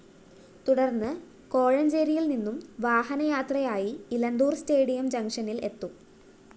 തുടര്‍ന്ന് കോഴഞ്ചേരിയില്‍ നിന്നും വാഹനയാത്രയായി ഇലന്തൂര്‍ സ്റ്റേഡിയം ജംഗ്ഷനില്‍ എത്തും